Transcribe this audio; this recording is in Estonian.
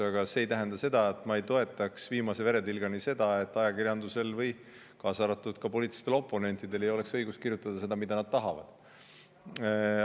Aga see ei tähenda, et ma ei toetaks viimase veretilgani seda, et ajakirjandusel, kaasa arvatud poliitilistel oponentidel, on õigus kirjutada seda, mida nad tahavad.